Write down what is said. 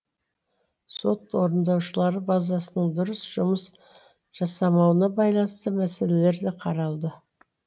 сот орындаушылары базасының дұрыс жұмыс жасамауына байланысты мәселелер де қаралды